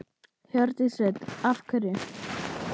Hjördís Rut: Af hverju?